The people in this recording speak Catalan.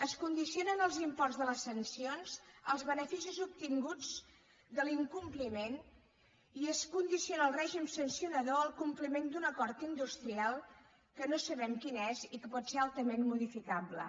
es condicionen els imports de les sancions als beneficis obtinguts de l’incompliment i es condiciona el règim sancionador al compliment d’un acord industrial que no sabem quin és i que pot ser altament modificable